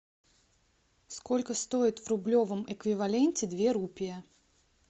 сколько стоит в рублевом эквиваленте две рупии